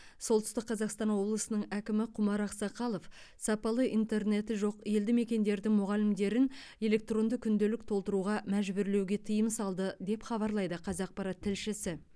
солтүстік қазақстан облысының әкімі құмар ақсақалов сапалы интернеті жоқ елді мекендердің мұғалімдерін электронды күнделік толтыруға мәжбүрлеуге тыйым салды деп хабарлайды қазақпарат тілшісі